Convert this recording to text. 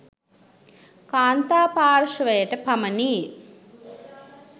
කාන්තා පාර්ශ්වයට පමණි.